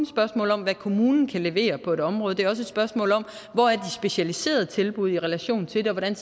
spørgsmål om hvad kommunen kan levere på et område det er også et spørgsmål om hvor de specialiserede tilbud er i relation til det og hvordan